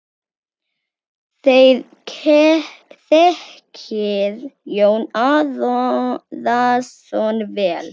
Þér þekkið Jón Arason vel.